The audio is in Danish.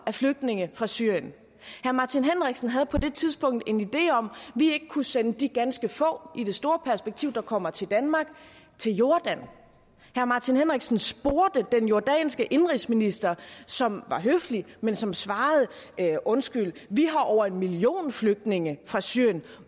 af flygtninge fra syrien herre martin henriksen havde på det tidspunkt en idé om at vi kunne sende de ganske få som i det store perspektiv kommer til danmark til jordan herre martin henriksen spurgte den jordanske indenrigsminister som var høflig men som svarede undskyld vi har over en million flygtninge fra syrien